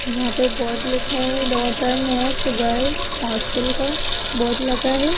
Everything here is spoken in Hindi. यहां पे बोर्ड लिखा है डॉटर नेस्ट गर्ल्स हॉस्टल का बोर्ड लगा है।